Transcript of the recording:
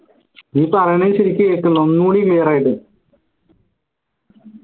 നീ പറയണത് ശരിക്ക് കേക്ക്ണില്ല ഒന്നുടി clear യിട്ട്